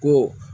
Ko